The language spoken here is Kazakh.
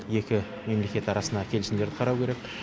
екі мемлекет арасына келісімдерді қарау керек